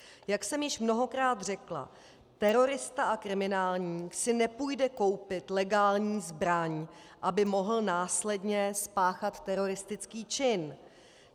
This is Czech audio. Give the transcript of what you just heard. Jak jsem již mnohokrát řekla, terorista a kriminálník si nepůjde koupit legální zbraň, aby mohl následně spáchat teroristický čin.